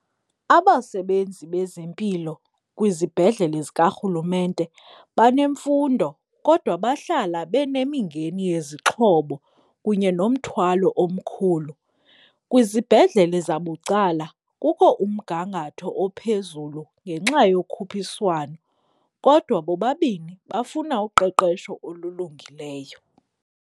Abasebenzi bezempilo kwizibhedlele zikarhulumente banemfundo kodwa bahlala benemingeni yezixhobo kunye nomthwalo omkhulu. Kwizibhedlele zabucala kukho umgangatho ophezulu ngenxa yokhuphiswano kodwa bobabini bafuna uqeqesho olulungileyo.